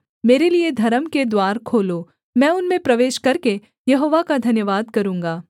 मेरे लिये धर्म के द्वार खोलो मैं उनमें प्रवेश करके यहोवा का धन्यवाद करूँगा